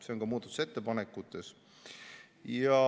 See on muudatusettepanekutes.